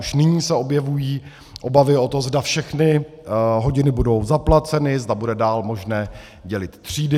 Už nyní se objevují obavy o to, zda všechny hodiny budou zaplaceny, zda bude dál možné dělit třídy.